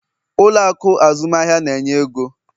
Ụlọ akụ azụmahịa na-enye ego?